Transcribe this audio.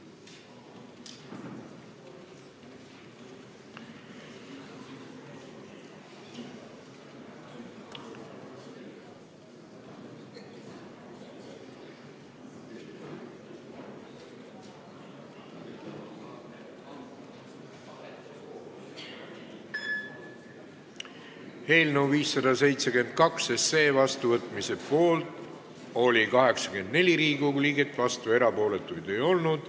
Hääletustulemused Eelnõu 572 seadusena vastuvõtmise poolt oli 84 Riigikogu liiget, vastuolijaid ega erapooletuid ei olnud.